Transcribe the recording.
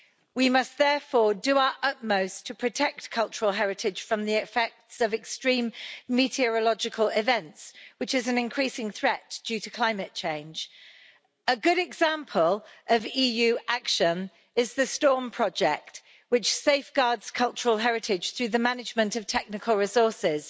We must therefore do our utmost to protect cultural heritage from the effects of extreme meteorological events, which is an increasing threat due to climate change. A good example of EU action is the Storm Project, which safeguards cultural heritage through the management of technical resources.